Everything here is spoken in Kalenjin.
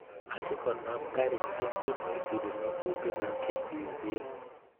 Asikonam garisiek che moisubi ngatutikab ketisiet